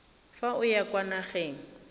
fa o ya kwa nageng